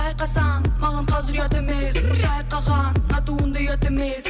байқасаң маған қазір ұят емес шайқаған мына туынды ұят емес